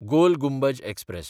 गोल Gumbaz express